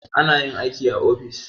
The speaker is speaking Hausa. Ana yin aiki a ofis.